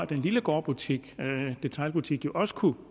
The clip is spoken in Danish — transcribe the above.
den lille gårdbutik detailbutik som jo også kunne